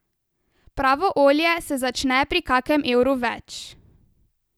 Pravo olje se začne pri kakem evru več.